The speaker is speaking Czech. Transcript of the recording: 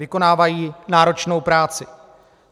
Vykonávají náročnou práci.